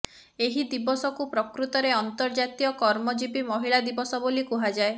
ଏହି ଦିବସକୁ ପ୍ରକୃତରେ ଅନ୍ତର୍ଜାତୀୟ କର୍ମଜୀବୀ ମହିଳା ଦିବସ ବୋଲି କୁହାଯାଏ